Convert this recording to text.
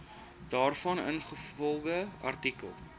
daarvan ingevolge artikel